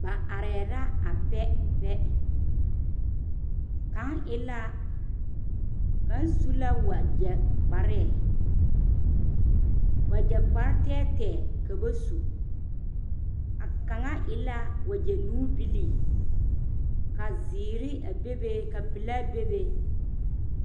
Noba are la a pɛpɛ, kaŋa su la wagyɛ kparoo, wagyɛ kpare tɛɛtɛɛ ka ba su, a kaŋa e la wagyɛ nuubilii ka zeɛre a be be ka pelaa bebe